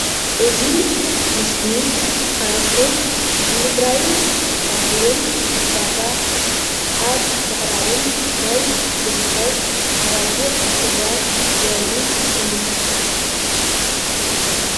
እዚ ምስሊ ሓረስቶት ንምፍራይን ከምኡ እውን ንዕዳጋ ኣብ ምቅራብን ናይ ዝርከብ ኣብጊዕ ፍርያት ዘርኢ እዩ።